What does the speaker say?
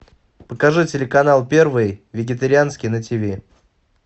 покажи телеканал первый вегетарианский на тв